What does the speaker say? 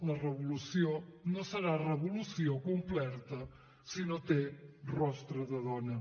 la revolució no serà revolució complerta si no té rostre de dona